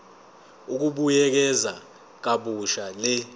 ukubuyekeza kabusha le